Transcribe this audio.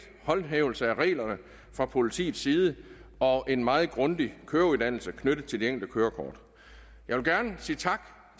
håndhævelse af reglerne fra politiets side og en meget grundig køreuddannelse knyttet til de enkelte kørekort jeg vil gerne sige tak